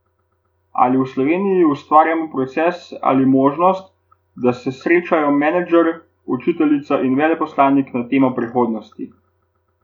Ali v Slovenji ustvarjamo proces ali možnost, da se srečajo menedžer, učiteljica in veleposlanik na temo prihodnosti?